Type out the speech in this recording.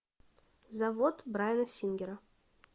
завод брайана сингера